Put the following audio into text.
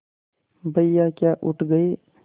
भैया क्या उठ गये